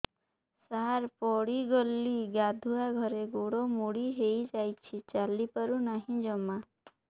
ସାର ପଡ଼ିଗଲି ଗାଧୁଆଘରେ ଗୋଡ ମୋଡି ହେଇଯାଇଛି ଚାଲିପାରୁ ନାହିଁ ଜମା